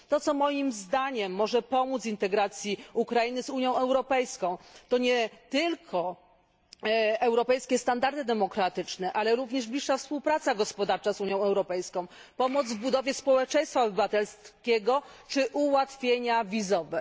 To, co moim zdaniem może pomóc integracji Ukrainy z Unią Europejską, to nie tylko europejskie standardy demokratyczne, ale również bliższa współpraca gospodarcza z Unią Europejską, pomoc w budowie społeczeństwa obywatelskiego czy ułatwienia wizowe.